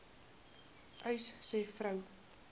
uys sê vroue